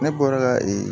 Ne bɔra ka